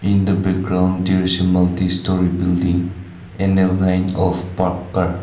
in the background there is a multi storey building and a line of park car.